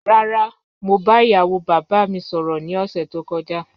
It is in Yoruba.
Rara, mo ba iyawo baba mi sọrọ ni ọsẹ to kọja